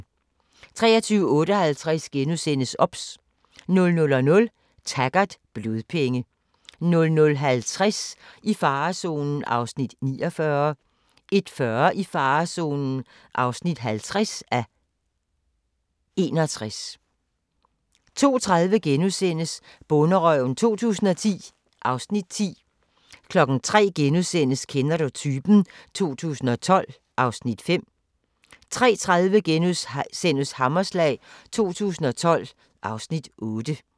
23:58: OBS * 00:00: Taggart: Blodpenge 00:50: I farezonen (49:61) 01:40: I farezonen (50:61) 02:30: Bonderøven 2010 (Afs. 10)* 03:00: Kender du typen? 2012 (Afs. 5)* 03:30: Hammerslag 2012 (Afs. 8)*